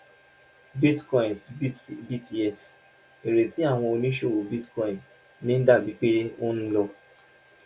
bitcoin s btc ìrètí tí àwọn oníṣòwò bitcoin ní ń dà bíi pé ó ń lọ